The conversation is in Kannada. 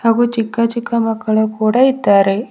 ಹಾಗು ಚಿಕ್ಕ ಚಿಕ್ಕ ಮಕ್ಕಳು ಕೂಡ ಇದ್ದಾರೆ.